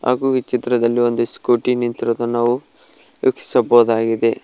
ಹಾಗು ಈ ಚಿತ್ರದಲ್ಲಿ ಒಂದು ಸ್ಕೂಟಿ ನಿಂತಿರೋದನ್ನ ನಾವು ವೀಕ್ಷಿಸಬಹುದಾಗಿದೆ.